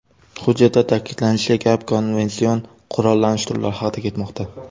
Hujjatda ta’kidlanishicha, gap konvension qurollanish turlari haqida ketmoqda.